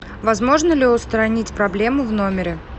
возможно ли устранить проблему в номере